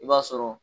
I b'a sɔrɔ